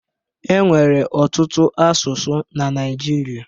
E nwere ọtụtụ asụsụ na Naịjirịa